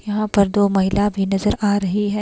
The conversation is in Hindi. यहां पर दो महिला भी नजर आ रही है।